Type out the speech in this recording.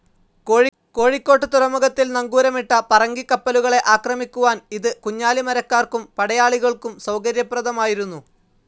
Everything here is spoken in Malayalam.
കോഴിക്കോട്ട് തുറമുഖത്തിൽ നങ്കൂരമിട്ട പറങ്കിക്കപ്പലുകളെ ആക്രമിക്കുവാൻ ഇത് കുഞ്ഞാലിമരയ്ക്കാർക്കും പടയാളികൾക്കും സൌകര്യപ്രദമായിരുന്നു.